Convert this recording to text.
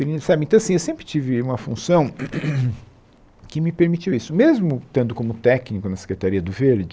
E sabe então assim eu sempre tive uma função que me permitiu isso, mesmo estando como técnico na Secretaria do Verde.